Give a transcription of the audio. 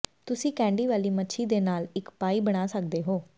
ਤੁਸੀਂ ਕੈਂਡੀ ਵਾਲੀ ਮੱਛੀ ਦੇ ਨਾਲ ਇੱਕ ਪਾਈ ਬਣਾ ਸਕਦੇ ਹੋ